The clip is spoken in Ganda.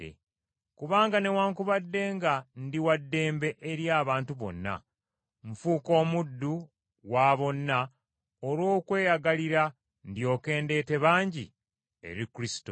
Kubanga newaakubadde nga ndi wa ddembe eri abantu bonna, nfuuka omuddu wa bonna olw’okweyagalira, ndyoke ndeete bangi eri Kristo.